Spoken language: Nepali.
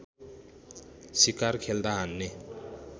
शिकार खेल्दा हान्ने